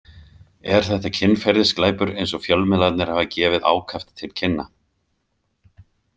Er þetta kynferðisglæpur eins og fjölmiðlarnir hafa gefið ákaft til kynna?